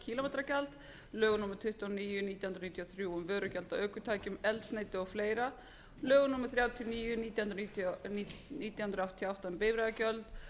kílómetragjald lögum númer tuttugu og níu nítján hundruð níutíu og þrjú um vörugjald af ökutækjum eldsneyti og fleira lögum númer þrjátíu og níu nítján hundruð áttatíu og átta um bifreiðagjald